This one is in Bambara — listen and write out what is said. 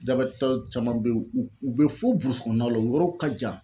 Dabɛtɔ caman be u u be fo kɔɔnaw la u yɔrɔw ka jan